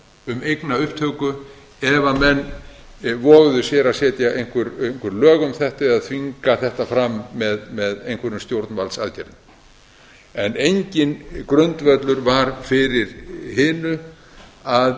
um eignaupptöku ef menn voguðu sér að setja einhver lög um þetta eða þvinga þetta fram með einhverjum stjórnvaldsaðgerðum enginn grundvöllur var fyrir hinu að